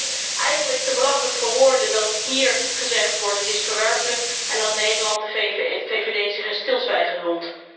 Ik vind het eigenlijk te belachelijk voor woorden dat hier gezegd wordt dat het verwerpelijk is en dat Nederland, de VVD zich in stilzwijgen hult.